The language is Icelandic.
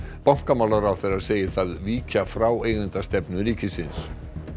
bankamálaráðherra segir það víkja frá eigendastefnu ríkisins